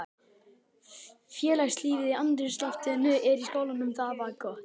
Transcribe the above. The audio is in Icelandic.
Félagslífið og andrúmsloftið í skólanum var gott.